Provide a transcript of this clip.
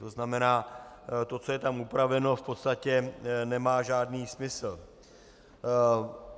To znamená, to, co je tam upraveno, v podstatě nemá žádný smysl.